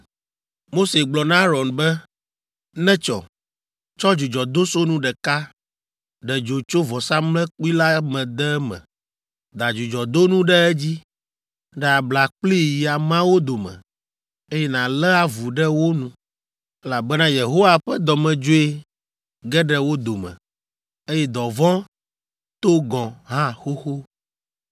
Mose gblɔ na Aron be, “Netsɔ! Tsɔ dzudzɔdosonu ɖeka, ɖe dzo tso vɔsamlekpui la me de eme, da dzudzɔdonu ɖe edzi, ɖe abla kplii yi ameawo dome, eye nàlé avu ɖe wo nu, elabena Yehowa ƒe dɔmedzoe ge ɖe wo dome, eye dɔvɔ̃ to gɔ̃ hã xoxo.”